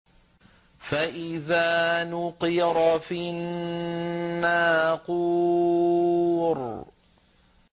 فَإِذَا نُقِرَ فِي النَّاقُورِ